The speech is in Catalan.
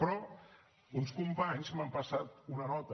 però uns companys m’han passat una nota